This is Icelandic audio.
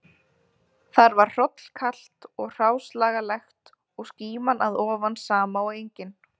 Þar var hrollkalt og hráslagalegt og skíman að ofan sama og engin